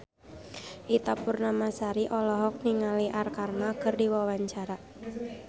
Ita Purnamasari olohok ningali Arkarna keur diwawancara